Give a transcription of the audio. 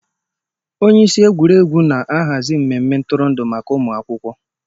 Onye isi egwuregwu na-ahazi mmemme ntụrụndụ maka ụmụ akwụkwọ.